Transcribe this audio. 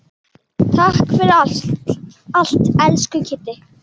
Takk fyrir allt, elsku Kiddi.